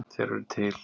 Þeir eru til.